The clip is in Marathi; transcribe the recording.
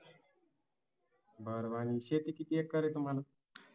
अह शेती किती एकर आहे तुम्हाला